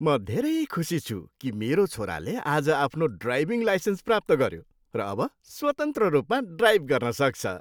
म धेरै खुसी छु कि मेरो छोराले आज आफ्नो ड्राइभिङ लाइसेन्स प्राप्त गऱ्यो र अब स्वतन्त्र रूपमा ड्राइभ गर्न सक्छ।